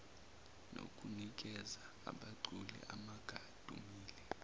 nokunikeza abaculi abangadumile